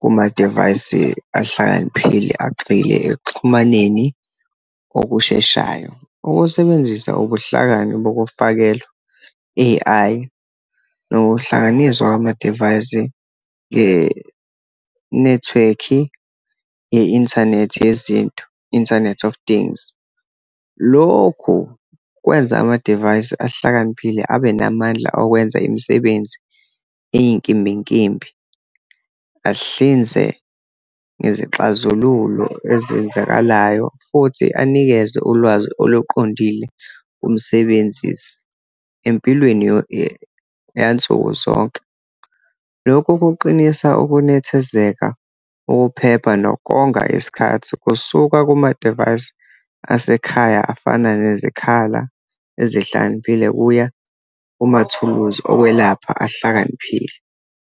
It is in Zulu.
kumadivayisi ahlakaniphile, agxile ekuxhumaneni okusheshayo. Ukusebenzisa ubuhlakani bokufakelwa, A_I, nokuhlanganiswa kwamadivayisi ngenethiwekhi ye-inthanethi yezinto, internet of things. Lokho kwenza amadivayisi ahlakaniphile, abe namandla okwenza imisebenzi eyinkimbinkimbi, ahlinze ngezixazululo ezenzakalayo, futhi anikeze ulwazi oluqondile kumsebenzisi empilweni yansuku zonke. Lokhu kuqinisa ukunethezeka, ukuphepha, nokonga isikhathi kusuka kumadivayisi asekhaya, afana nezikhala ezihlakaniphile, kuya kumathuluzi okokwelapha ahlakaniphile.